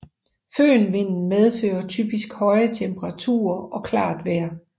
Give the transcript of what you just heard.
Fønvinden medfører typisk høje temperaturer og klart vejr